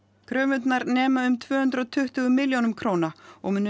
kröfurnar nema um tvö hundruð og tuttugu milljónum króna og munu